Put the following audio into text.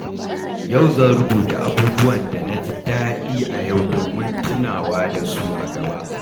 Yau zan rubuta abubuwan da na ji daɗi a yau domin tunawa da su a gaba.